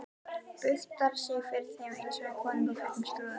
Buktar sig fyrir þeim einsog fyrir konungum í fullum skrúða.